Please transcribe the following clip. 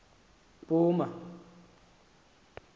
mpuma